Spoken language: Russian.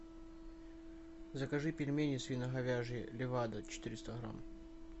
закажи пельмени свино говяжье левадо четыреста грамм